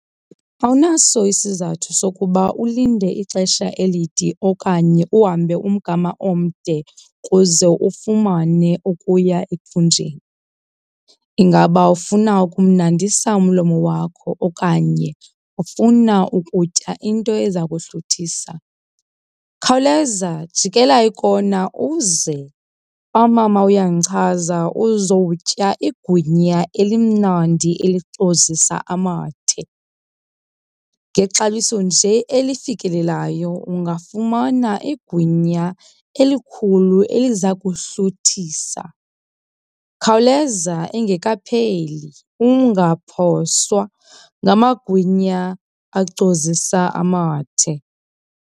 Awunaso isizathu sokuba ulinde ixesha elide okanye uhambe umgama omde kuze ufumane okuya ethunjeni. Ingaba ufuna ukumnandisa umlomo wakho okanye ufuna ukutya into eza kuhluthisa? Khawuleza jikela ikona uze kwaMama Uyandichaza uzowutya igwinya elimnandi elicozisa amathe. Ngexabiso nje elifikelelayo ungafumana igwinya elikhulu eliza kuhluthisa. Khawuleza engekapheli, ungaphoswa ngamagwinya acozisa amathe.